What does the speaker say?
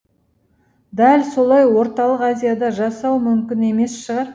дәл солай орталық азияда жасау мүмкін емес шығар